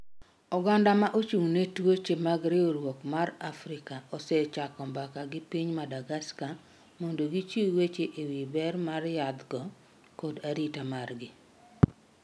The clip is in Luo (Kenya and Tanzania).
Oganda ma ochung' ne twoche mag Riwruok mar Afrika osechako mbaka gi piny Madagascar mondo gichiw weche ewi ber mar yadh go kod arita margi.